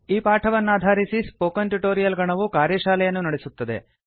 ಈ ಪಾಠವನ್ನಾಧಾರಿಸಿ spoken tutorial ಗಣವು ಕಾರ್ಯಶಾಲೆಯನ್ನು ನಡೆಸುತ್ತದೆ